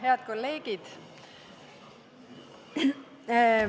Head kolleegid!